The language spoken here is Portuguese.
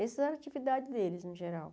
Essas eram atividades deles, no geral.